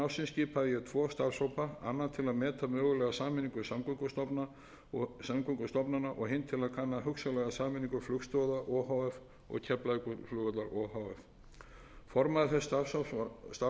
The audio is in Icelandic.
ársins skipaði ég tvo starfshópa annan til meta mögulega sameiningu samgöngustofnana og hinn til að kanna hugsanlega sameiningu flugstoða o h f og keflavíkurflugvallar o h f formaður þess starfshóps var jón karl ólafsson og með honum